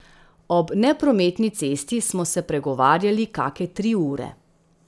Ob neprometni cesti smo se pregovarjali kake tri ure.